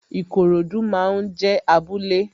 Ikorodu máa ń jé abúlé